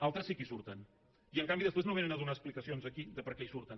altres sí que hi surten i en canvi després no vénen a donar explicacions aquí de per què hi surten